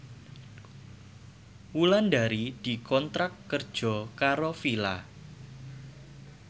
Wulandari dikontrak kerja karo Fila